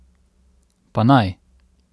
Pa naj!